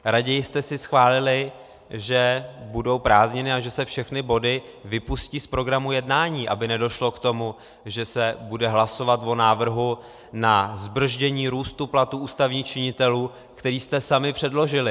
Raději jste si schválili, že budou prázdniny a že se všechny body vypustí z programu jednání, aby nedošlo k tomu, že se bude hlasovat o návrhu na zbrzdění růstu platů ústavních činitelů, který jste sami předložili.